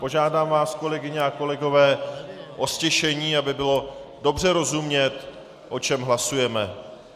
Požádám vás, kolegyně a kolegové o ztišení, aby bylo dobře rozumět, o čem hlasujeme.